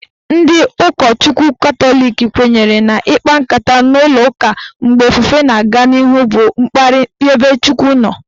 Ndị ụkọchukwu Katọlik kwenyere na ikpa nkata n'ụlọụka mgbe ofufe na-aga n'ihu bụ mkparị ebe Chukwu nọ.